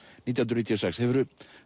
nítján hundruð níutíu og sex hefurðu